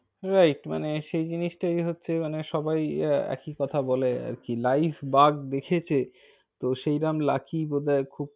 Right মানে সেই জিনিসটাই হচ্ছে সবাই একই কথা বলে আর কি। live বাঘ দেখেছে তো সেই রম lucky বোধহয় খুব,